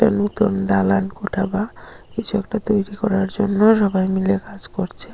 নতুন দালানকোঠা বা কিছু একটা তৈরি করার জন্য সবাই মিলে কাজ করছে।